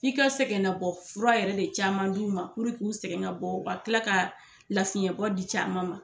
I ka sɛgɛnnabɔ fura yɛrɛ de caman d'u ma puru k'u sɛgɛn nabɔ ka kila ka lafiɲɛbɔ di caman ma